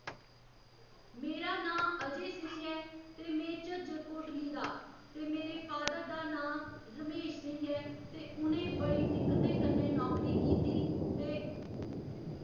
मेरा नांऽ अजय सिंह ऐ ते में झज्जर कोटली दा ते मेरे फादर दा नांऽ रमेश सिंह ऐ ते उ'नें बड़ी दिक्कतें कन्नै नौकरी कीती ते